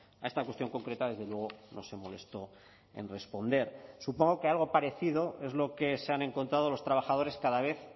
a esta cuestión concreta desde luego no se molestó en responder supongo que algo parecido es lo que se han encontrado los trabajadores cada vez